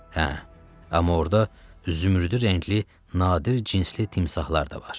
Hə, amma orda zümrüdü rəngli nadir cinsli timsahlar da var.